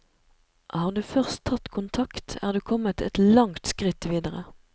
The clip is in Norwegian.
Har du først tatt kontakt, er du kommet et langt skritt videre.